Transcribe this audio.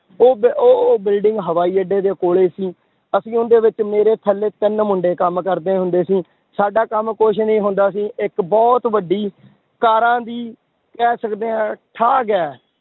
ਉਹ ਬ~ ਉਹ, ਉਹ building ਹਵਾਈ ਅੱਡੇ ਦੇ ਕੋਲੇ ਸੀ, ਅਸੀਂ ਉਹਦੇ ਵਿੱਚ ਮੇਰੇ ਥੱਲੇ ਤਿੰਨ ਮੁੰਡੇ ਕੰਮ ਕਰਦੇ ਹੁੰਦੇ ਸੀ, ਸਾਡਾ ਕੰਮ ਕੁਛ ਨੀ ਹੁੰਦਾ ਸੀ, ਇੱਕ ਬਹੁਤ ਵੱਡੀ ਕਾਰਾਂ ਦੀ ਕਹਿ ਸਕਦੇ ਹਾਂ ਠਾਗ ਹੈ,